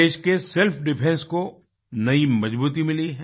देश के self defence को नई मजबूती मिली है